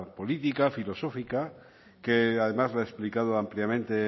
política filosófica que además lo ha explicado ampliamente